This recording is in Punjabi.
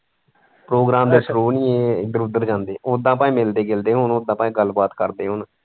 program ਦੇ through ਨਹੀਂ ਇਹ ਇੱਧਰ ਉੱਧਰ ਜਾਂਦੇ ਉੱਦਾਂ ਭਾਵੇਂ ਮਿਲਦੇ ਜੁਲਦੇ ਹੋਣ ਉੱਦਾਂ ਭਾਵੇਂ ਗੱਲ ਬਾਤ ਕਰਦੇ ਹੋਣ।